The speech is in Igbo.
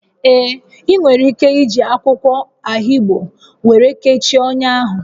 Ee, ị nwere ike iji akwụkwọ ahigbo were kechie ọnya ahụ